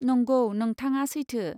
नंगौ, नोंथाङा सैथो।